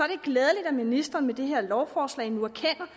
glædeligt at ministeren med det her lovforslag nu erkender